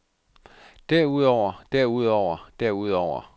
derudover derudover derudover